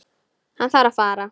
Hann þarf að fara.